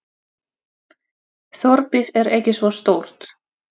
Þorpið er ekki svo stórt.